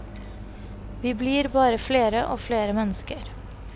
Vi blir bare flere og flere mennesker.